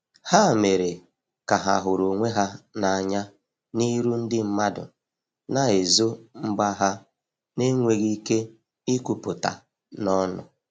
Ha mere ka ha huru onwe ha na anya n'iru ndi madu na ezo mgba ha n enweghi ike ikwuputa n'onu